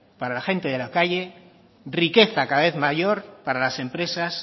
para la gente de la calle riqueza cada vez mayor para las empresas